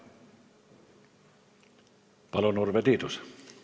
Palun, Urve Tiidus!